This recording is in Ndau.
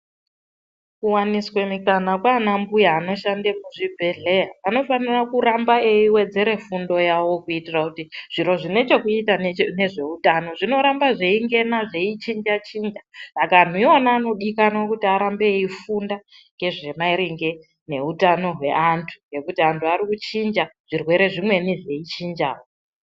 Kuwaniswa mikana kwaanambuya vanoshande muzvibhedhlera. Anofanire kurambe eiwedzere fundo yavo kuitire kuti zviro zvine chekuita nezvehutano zvinorambe zveingena, zveichinja chinja. Saka anhu iwonawo vanodikanwe kuramba veifunda ngezvemaringe neutano hweantu ngekuti antu ari kuchinja zvirwere zvimweni zveichinjawo.